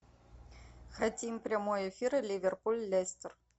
хотим прямой эфир ливерпуль лестер